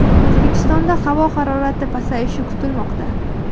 O‘zbekistonda havo harorati pasayishi kutilmoqda.